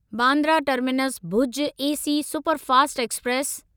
Bandra terminus Bhuj AC superfast express